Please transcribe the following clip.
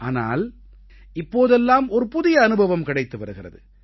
ஆனால் இப்போதெல்லாம் ஒரு புதிய அனுபவம் கிடைத்து வருகிறது